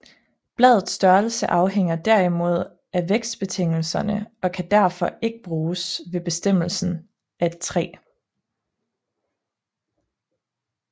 Bladets størrelse afhænger derimod af vækstbetingelserne og kan derfor ikke bruges ved bestemmelse af et træ